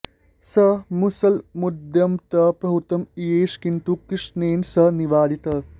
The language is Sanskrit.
स मुसलमुद्यम्य तं प्रहर्तुम् इयेष किन्तु कृष्णेन स निवारितः